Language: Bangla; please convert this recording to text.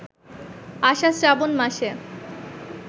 আষাঢ়-শ্রাবণ মাসে